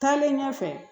Taalen ɲɛfɛ